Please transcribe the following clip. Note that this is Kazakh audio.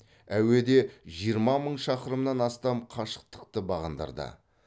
әуеде жиырма мың шақырымнан астам қашықтықты бағындырды